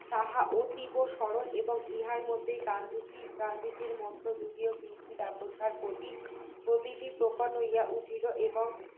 তাহা অতীব সরল এবং ইহার মধ্যে গান্ধীজি গান্ধীজীর মতে যদিও বিলেতি কাপড়ের প্রতি প্রতিটি প্রকট হইয়া উঠিল এবং